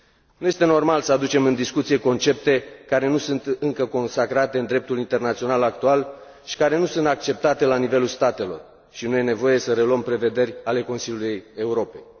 Nu este normal să aducem în discuție concepte care nu sunt încă consacrate în dreptul internațional actual și care nu sunt acceptate la nivelul statelor și nu este nevoie să reluăm prevederi ale Consiliului Europei.